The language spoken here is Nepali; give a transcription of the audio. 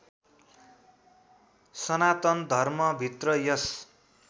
सनातन धर्मभित्र यस